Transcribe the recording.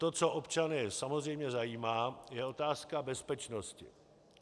To, co občany samozřejmě zajímá, je otázka bezpečnosti.